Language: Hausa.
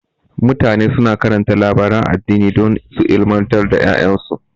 Mutane suna karanta labaran addini don su ilmantar da ƴaƴansu.